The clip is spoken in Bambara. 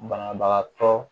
Banabagatɔ